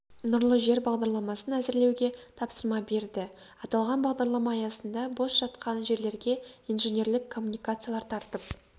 нұрлы жер бағдарламасын әзірлеуге тапсырма берді аталған бағдарлама аясында бос жатқан жерлерге инженерлік коммуникациялар тартып